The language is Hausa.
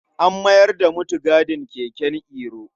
An mayar da mutigadin keken Iro.